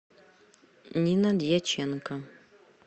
нина дьяченко